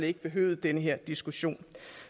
ikke behøvet den her diskussion